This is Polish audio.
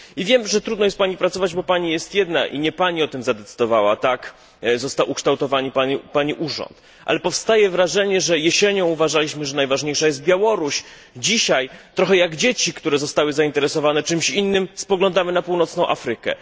I wiem, że trudno jest Pani pracować, bo Pani jest jedna i nie Pani o tym zadecydowała tak został ukształtowany Pani urząd ale powstaje wrażenie, że jesienią uważaliśmy, że najważniejsza jest Białoruś, dzisiaj trochę jak dzieci, które zostały zainteresowane czymś innym spoglądamy na północną Afrykę.